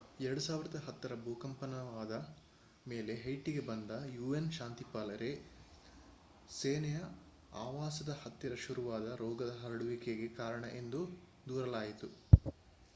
2010 ರ ಭೂಕಂಪನವಾದ ಮೇಲೆ ಹೈಟಿಗೆ ಬಂದ un ಶಾಂತಿಪಾಲಕರೇ ಸೇನೆಯ ಆವಾಸದ ಹತ್ತಿರ ಶುರುವಾದ ರೋಗದ ಹರಡುವಿಕೆಗೆ ಕಾರಣ ಎಂದು ದೂರಲಾಯಿತು